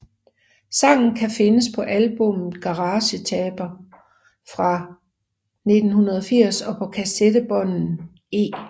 Sangen kan findes på albummet Garagetaper fra 1980 og på kassettebånden E